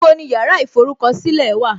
Níbo ni yàrá ìforúkọ̀sílẹ̀ wà?